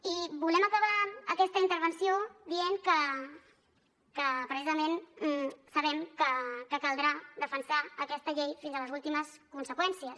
i volem acabar aquesta intervenció dient que precisament sabem que caldrà defensar aquesta llei fins a les últimes conseqüències